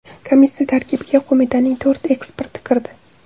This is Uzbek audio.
Komissiya tarkibiga qo‘mitaning to‘rt eksperti kirdi.